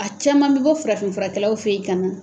A caman bɛ bɔ farafin furakɛlaw fɛ yen ka nan.